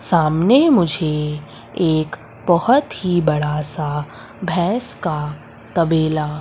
सामने मुझे एक बहोत ही बड़ा सा भैंस का तबेला--